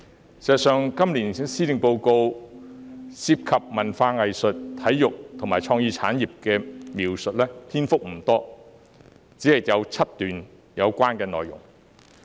事實上，今年施政報告涉及文化藝術、體育和創意產業的篇幅不多，只有7段相關內容。